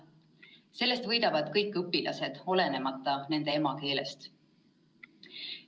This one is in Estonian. Sellest võidavad kõik õpilased, olenemata nende emakeelest.